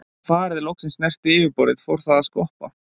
Þegar farið loksins snerti yfirborðið fór það að skoppa.